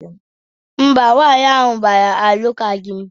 Mba, nwaanyị ahụ a gbara alụkwaghịm